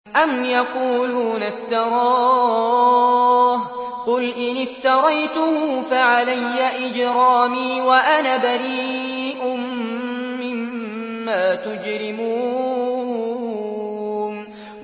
أَمْ يَقُولُونَ افْتَرَاهُ ۖ قُلْ إِنِ افْتَرَيْتُهُ فَعَلَيَّ إِجْرَامِي وَأَنَا بَرِيءٌ مِّمَّا تُجْرِمُونَ